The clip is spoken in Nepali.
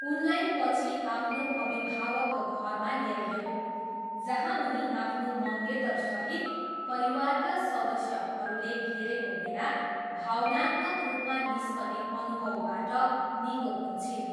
उनलाई पछि आफ्नो अभिभावकको घरमा ल्याइयो, जहाँ उनी आफ्नो मङ्गेतरसहित परिवारका सदस्यहरूले घेरेको बेला भावनात्मक रूपमा निस्कने अनुभवबाट निको हुन्छिन्।